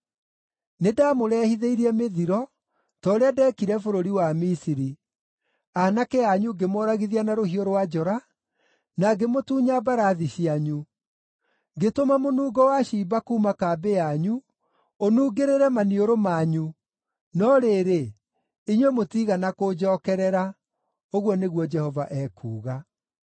“Nĩndamũrehithĩirie mĩthiro ta ũrĩa ndeekire bũrũri wa Misiri. Aanake anyu ngĩmoragithia na rũhiũ rwa njora, na ngĩmũtunya mbarathi cianyu. Ngĩtũma mũnungo wa ciimba kuuma kambĩ yanyu ũnungĩrĩre maniũrũ manyu, no rĩrĩ, inyuĩ mũtiigana kũnjookerera,” ũguo nĩguo Jehova ekuuga.